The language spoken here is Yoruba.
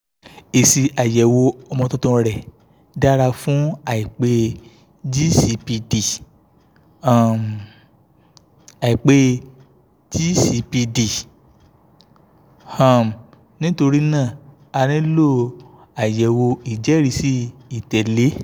èsì àyẹ̀wò ọmọ tuntun rẹ̀ dára fún àìpé g six pd um àìpé g six pd um nítorí náà a nílò àyẹ̀wò ìjẹ́rìísí ìtẹ̀lé